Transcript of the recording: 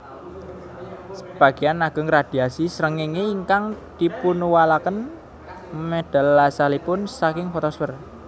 Sebagéyan ageng radhiasi srengéngé ingkang dipunuwalaken medal asalipun saking fotosfèr